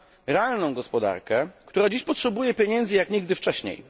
realną gospodarkę, która dziś potrzebuje pieniędzy jak nigdy wcześniej.